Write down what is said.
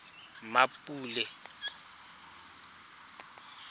mmapule